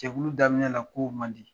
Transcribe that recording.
Jɛkulu daminɛ na ko man di.